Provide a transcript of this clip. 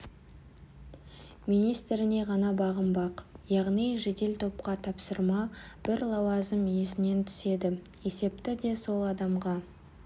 министріне ғана бағынбақ яғни жедел топқа тапсырма бір лауазым иесінен түседі есепті де сол адамға